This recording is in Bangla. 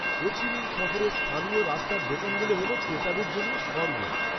হো চি মিন শহরের স্থানীয় রাস্তার দোকানগুলো হল ক্রেতাদের জন্য স্বর্গ।